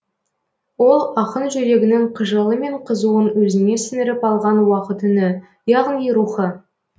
ол ақын жүрегінің қыжылы мен қызуын өзіне сіңіріп алған уақыт үні яғни рухы